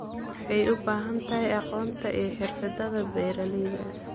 Waxay u baahan tahay aqoonta iyo xirfadaha beeralayda.